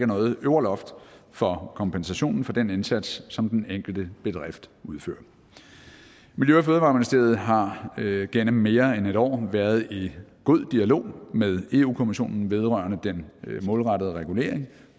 noget øvre loft for kompensationen for den indsats som den enkelte bedrift udfører miljø og fødevareministeriet har gennem mere end et år været i god dialog med europa kommissionen vedrørende den målrettede regulering